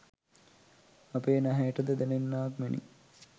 අපේ නැහැයට ද දැනෙන්නාක් මෙනි.